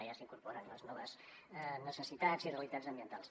ja s’hi incorporen les noves necessitats i realitats ambientals